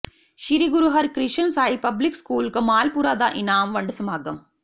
ਸ੍ਰੀ Guru Harkrishan Sahib public school Kamalpura ਦਾ ਇਨਾਮ ਵੰਡ ਸਮਾਗਮ